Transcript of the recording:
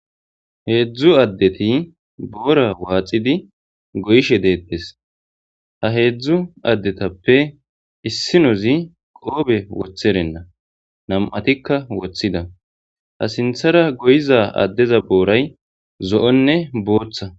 heedzdzu addeti boora waaxidi goyishe deettes ha heedzdzu addetappe issinozi qoobe wotherenna nam7atikka wothida ha sinthara goyiza addeza booray zo7onne booththa